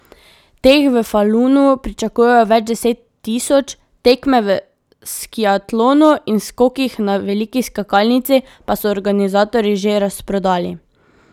Teh v Falunu pričakujejo več deset tisoč, tekme v skiatlonu in skokih na veliki skakalnici pa so organizatorji že razprodali.